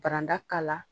Baranda k'a la